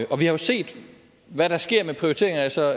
og vi har jo set hvad der sker med prioriteringer altså